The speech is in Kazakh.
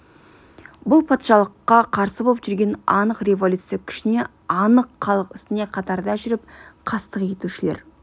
бұл патшалыққа қарсы боп жүрген анық революция күшіне анық халық ісіне қатарда жүріп қастық етушілер